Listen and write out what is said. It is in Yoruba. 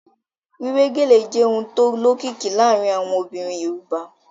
Wíwé gèlè jẹ́ ohun tó lókìkí láàárín àwọn obìnrin Yorùbá